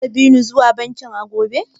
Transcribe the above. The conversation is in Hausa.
Zaka bi ni zuwa bankin a gobe?